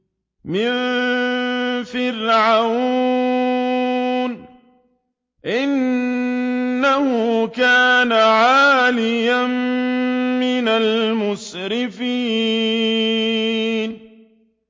مِن فِرْعَوْنَ ۚ إِنَّهُ كَانَ عَالِيًا مِّنَ الْمُسْرِفِينَ